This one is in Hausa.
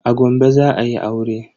A Gombe za ayi aure.